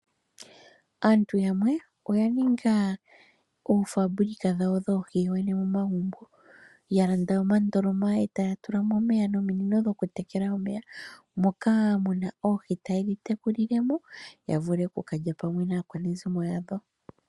Aantu yamwe oya ninga oopoloyeka dhoohi yawo dhodhene momagumbo. Ya landa omandoloma e taya tula mo omeya, nominino dhokutekela omeya, moka mu na oohi taye dhi tekulile mo ya vule oku ka lya pamwe naakwanezimo yawo.